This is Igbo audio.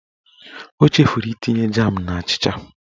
O chefuru itinye jam n'achịcha